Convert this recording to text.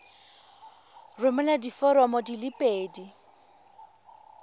romela diforomo di le pedi